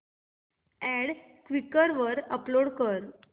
add Quikr वर upload कर